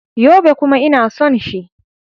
Yobe. kuma ina son shi.